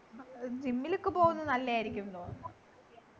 ഏർ gym ലൊക്കെ പോകുന്നത് നല്ലയായിരിക്കും